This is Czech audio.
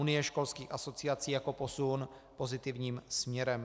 Unie školských asociací jako posun pozitivním směrem.